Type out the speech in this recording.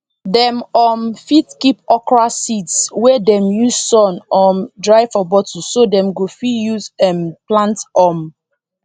dem um fit keep okra seeds wey dem use sun um dry for bottle so dem go fit use um plant um